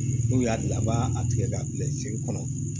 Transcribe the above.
N'u y'a dilan u b'a a tigɛ k'a bila sen kɔnɔ